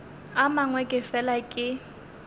a mangwe ke fela ke